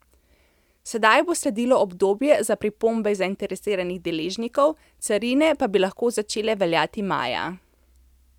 Sedaj bo sledilo obdobje za pripombe zainteresiranih deležnikov, carine pa bi lahko začele veljati maja.